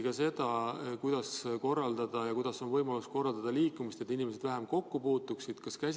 Kas arutati seda, kuidas on võimalik korraldada liikumist, et inimesed vähem kokku puutuksid?